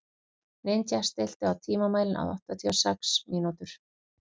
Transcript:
Ninja, stilltu tímamælinn á áttatíu og sex mínútur.